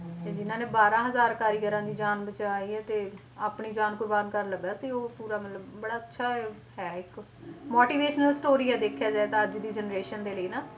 ਤੇ ਜਿੰਨਾਂ ਨੇ ਬਾਰਾਂ ਹਜ਼ਾਰ ਕਾਰੀਗਰਾਂ ਦੀ ਜਾਨ ਬਚਾਈ ਹੈ ਤੇ ਆਪਣੀ ਜਾਨ ਕੁਰਬਾਨ ਕਰਨ ਲੱਗਾ ਸੀ ਉਹ ਪੂਰਾ ਮਤਲਬ ਬੜਾ ਅੱਛਾ ਹੈ ਇੱਕ motivational story ਹੈ ਦੇਖਿਆ ਜਾਏ ਤਾਂ ਅੱਜ ਦੀ generation ਦੇ ਲਈ ਨਾ,